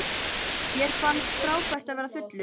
Mér fannst frábært að verða fullur.